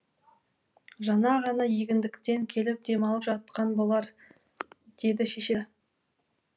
жаңа ғана егіндіктен келіп демалып жатқан болар деді шеше